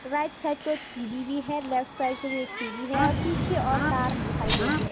Right side को एक TV भी है लेफ्ट साइड को भी एक टी_वी है और पीछे और कार दिखाई दे रही है।